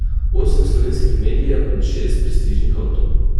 Osem slovenskih medijev in šest prestižnih avtov.